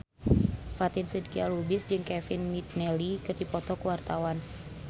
Fatin Shidqia Lubis jeung Kevin McNally keur dipoto ku wartawan